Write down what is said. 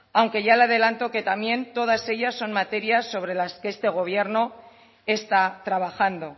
aunque ya le adelanto que también todas ellas son materias sobre las que este gobierno está trabajando